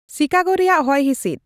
ᱥᱤᱠᱟᱜᱳ ᱨᱮᱭᱟᱜ ᱦᱚᱥᱼᱦᱤᱥᱤᱫ